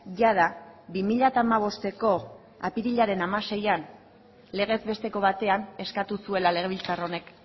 jada bi mila hamabosteko apirilaren hamaseian legez besteko batean eskatu zuela legebiltzar honek